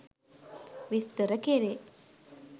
විස්තර කෙරේ.